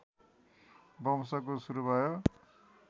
वंशको सुरु भयो